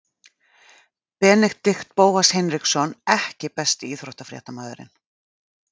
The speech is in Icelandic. Benedikt Bóas Hinriksson EKKI besti íþróttafréttamaðurinn?